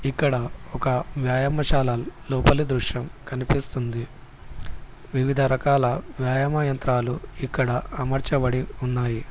ఇక్కడ ఒక వ్యాయామశాల లోపలి దృశ్యం కనిపిస్తుంది వివిధ రకాల వ్యాయమా యంత్రాలు ఇక్కడ అమర్చబడి ఉన్నాయి.